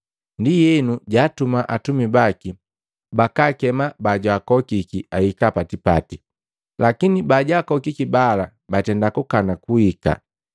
Ndienu jaatuma atumika baki bakaakema bajwaakokiki ahika pa tipati, lakini bajaakokiki bala batenda kukana kuhika.